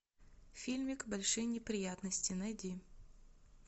фильмик большие неприятности найди